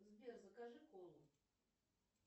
сбер закажи колу